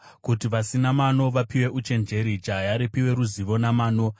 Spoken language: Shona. kuti vasina mano vapiwe uchenjeri, jaya ripiwe ruzivo namano,